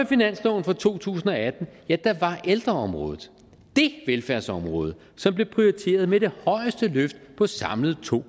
finansloven for to tusind og atten var ældreområdet det velfærdsområde som blev prioriteret med det højeste løft på samlet to